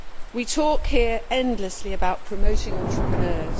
We talk here endlessly about promoting entrepreneurs